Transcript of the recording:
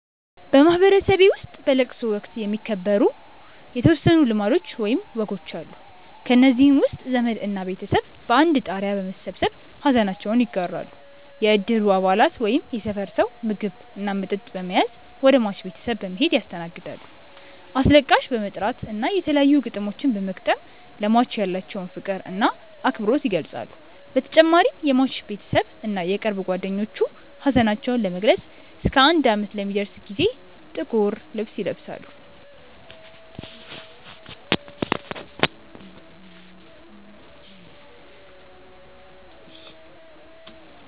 በማህበረሰቤ ውስጥ በለቅሶ ወቅት የሚከበሩ የተወሰኑ ልማዶች ወይም ወጎች አሉ። ከእነዚህም ውስጥ ዘመድ እና ቤተሰብ በአንድ ጣሪያ በመሰብሰብ ሐዘናቸውን ይጋራሉ፣ የእድሩ አባላት ወይም የሰፈር ሰው ምግብ እና መጠጥ በመያዝ ወደ ሟች ቤተሰብ በመሔድ ያስተናግዳሉ፣ አስለቃሽ በመጥራት እና የተለያዩ ግጥሞችን በመግጠም ለሟች ያላቸውን ፍቅር እና አክብሮት ይገልፃሉ በተጨማሪም የሟች ቤተሰብ እና የቅርብ ጓደኞቹ ሀዘናቸውን ለመግለፅ እስከ አንድ አመት ለሚደርስ ጊዜ ጥቁር ልብስ ይለብሳሉ።